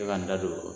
Se ka n da don o la